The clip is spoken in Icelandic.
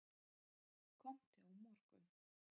Komdu á morgun.